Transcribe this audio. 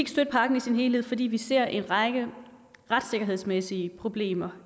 støtte pakken i sin helhed fordi vi ser en række retssikkerhedsmæssige problemer